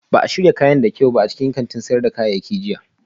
Ba a shirya kayan da kyau ba a cikin kantin sayar da kayayyaki jiya